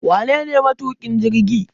Wanene matukin jirgi?